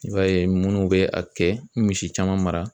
I b'a ye munnu bɛ a kɛ misi caman mara.